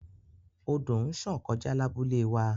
Odo nṣàn kọja labule wa